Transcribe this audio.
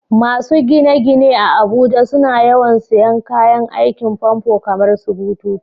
Masu gine-gine a Abuja suna yawan sayen kayan aikin famfo kamarsu bututu.